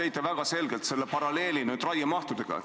Te tõite väga selgelt paralleeli raiemahuga.